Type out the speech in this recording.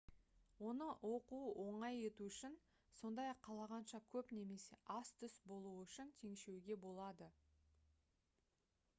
оны оқу оңай ету үшін сондай-ақ қалағанша көп немесе аз түс болуы үшін теңшеуге болады